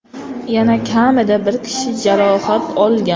Yana kamida bir kishi jarohat olgan.